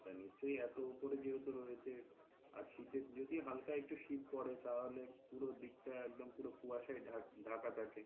হ্যাঁ নিশ্চয় এতো উপরে যখন রয়েছে আর শীতের যদি হালকা একটু শীত পড়ে তাহলে পুরো দিক টা একদম পুরো কুয়াশায় ঢাকা থাকে.